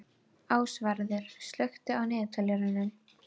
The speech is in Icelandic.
Ásvarður, slökktu á niðurteljaranum.